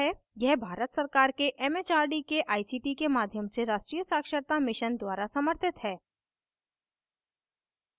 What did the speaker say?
यह भारत सरकार के it it आर डी के आई सी टी के माध्यम से राष्ट्रीय साक्षरता mission द्वारा समर्थित है